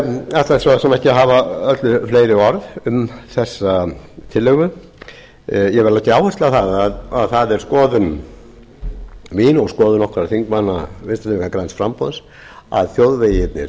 eg ætla svo sem ekki að hafa öllu fleiri orð um þessa tillögu ég vil leggja áherslu á að það er skoðun mín og skoðun okkar þingmanna vinstri hreyfingarinnar græns framboðs að